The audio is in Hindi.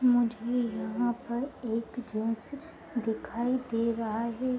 मुझ मे यहाँ पर एक दिखाए दे रहा है।